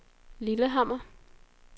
Lillehammer